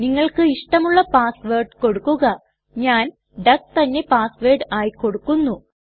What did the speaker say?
നിങ്ങൾക്ക് ഇഷ്ടമുള്ള password കൊടുക്കുക ഞാൻ ഡക്ക് തന്നെ പാസ് വേർഡ് ആയി കൊടുക്കുന്നു